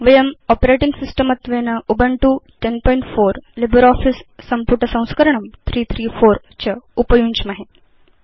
वयं operating system त्वेन Ubuntu 1004 LibreOffice सम्पुट संस्करणं 334 च उपयुञ्ज्महे